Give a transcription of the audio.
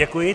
Děkuji.